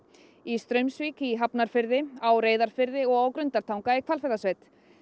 í Straumsvík í Hafnarfirði á Reyðarfirði og á Grundartanga í Hvalfjarðarsveit